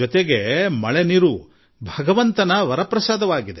ಆದರೆ ಇದು ಭಗವಂತ ನೀಡಿದ ಪ್ರಸಾದ